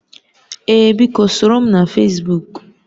Ee biko, soro m na Fesbuk